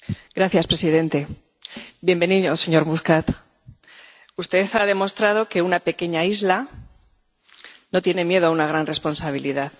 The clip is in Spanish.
Señor presidente. Bienvenido, señor Muscat, usted ha demostrado que una pequeña isla no tiene miedo a una gran responsabilidad.